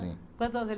Quantos anos eles